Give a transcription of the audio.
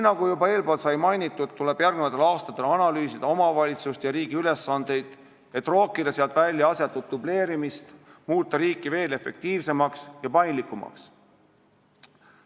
Nagu juba sai mainitud, tuleb järgmistel aastatel analüüsida omavalitsuste ja riigi ülesandeid, et rookida välja asjatut dubleerimist, muuta riik veel efektiivsemaks ja paindlikumaks.